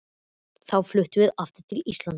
Þá fluttum við aftur til Íslands.